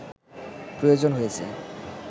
প্রয়োজন হয়েছে